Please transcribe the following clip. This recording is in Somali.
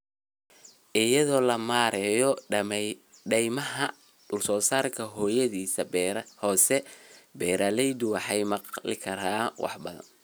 Iyadoo loo marayo deymaha dulsaarka hooseeya, beeralayda waxay maalgashi karaan wax badan.